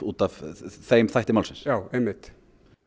út af þeim þætti málsins já einmitt